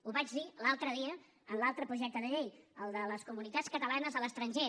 ho vaig dir l’altre dia en l’altre projecte de llei el de les comunitats catalanes a l’estranger